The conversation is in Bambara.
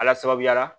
Ala sababuya la